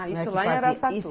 Ah, isso lá era